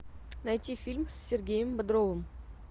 найти фильм с сергеем бодровым